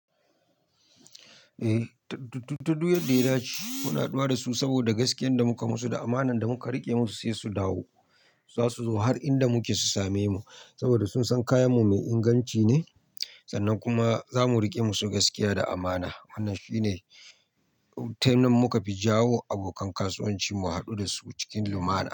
Eh, ta duk yadda ya dace muna haduwa da su saboda gaskiyan da muka musu da amanar da muka rike musu sai su dawo. Za su zo har inda muke su same mu saboda sun san kayanmu mai inganci ne sannan kuma za mu rike musu gaskiya da amana. Wannan shine lokacin da muka fi jawo abokan kasuwanci mu hadu da su cikin lumana.